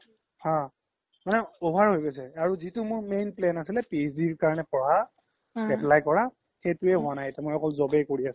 অ মানে over হৈ গৈছে আৰু যিতো মোৰ plan আছিলে PhD কাৰনে পঢ়া apply কৰা সেইতোয়ে হুৱা নাই এতিয়া অকল মই job য়ে কৰি আছো